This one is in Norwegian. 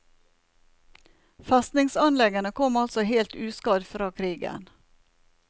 Festningsanleggene kom altså helt uskadd fra krigen.